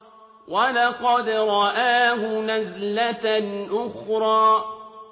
وَلَقَدْ رَآهُ نَزْلَةً أُخْرَىٰ